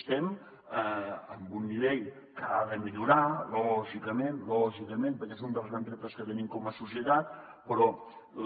estem en un nivell que ha de millorar lògicament lògicament perquè és un dels grans reptes que tenim com a societat però